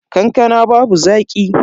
Kankanan babu zaki.